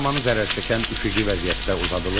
Bu zaman zərərçəkən üfüqi vəziyyətdə uzadılır.